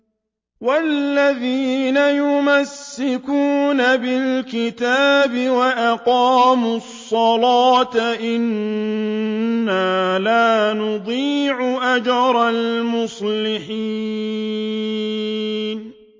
وَالَّذِينَ يُمَسِّكُونَ بِالْكِتَابِ وَأَقَامُوا الصَّلَاةَ إِنَّا لَا نُضِيعُ أَجْرَ الْمُصْلِحِينَ